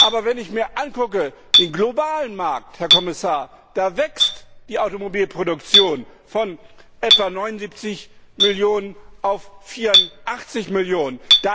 Aber wenn ich mir den globalen Markt ansehe, Herr Kommissar, da wächst die Automobilproduktion von etwa 79 Millionen auf 84 Millionen.